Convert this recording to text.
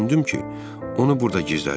Düşündüm ki, onu burda gizlədim.